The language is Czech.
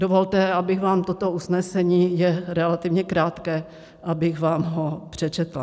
Dovolte, abych vám toto usnesení - je relativně krátké - abych vám ho přečetla.